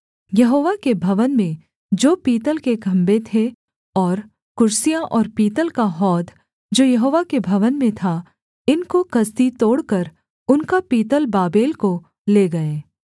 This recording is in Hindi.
यहोवा के भवन में जो पीतल के खम्भे थे और कुर्सियाँ और पीतल का हौद जो यहोवा के भवन में था इनको कसदी तोड़कर उनका पीतल बाबेल को ले गए